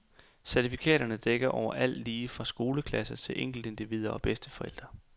Certifikaterne dækker over alt lige fra skoleklasser til enkeltindivider og bedsteforældre.